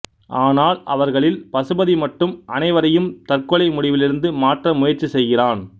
ஆனால் அவர்களில் பசுபதி மட்டும் அனைவரையும் தற்கொலை முடிவிலிருந்து மாற்ற முயற்சி செய்கிறான்